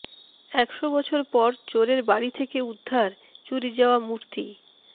একশো বছর পর চোরের বাড়ি থেকে উদ্ধার চুরি যাওয়া মূর্তি